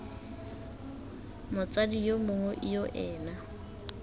motsadi yo mongwe yo ena